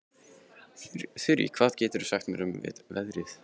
Þurí, hvað geturðu sagt mér um veðrið?